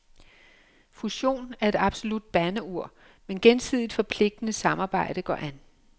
Fusion er et absolut bandeord, men gensidigt forpligtende samarbejde går an.